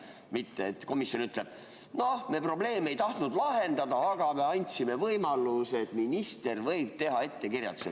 Mitte et komisjon ütleb: "Me probleeme ei tahtnud lahendada, aga me andsime võimaluse, et minister võib teha ettekirjutuse.